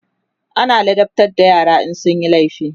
ana ladabtar da yara in sunyi laifi